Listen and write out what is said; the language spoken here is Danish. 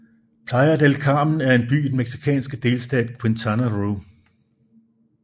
Playa del Carmen er en by i den mexicanske delstat Quintana Roo